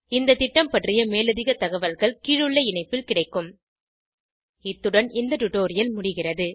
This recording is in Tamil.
இந்த திட்டம் பற்றிய மேலதிக தகவல்கள் கீழுள்ள இணைப்பில் கிடைக்கும் httpspoken tutorialorgNMEICT Intro இத்துடன் இந்த டுடோரியல் முடிகிறது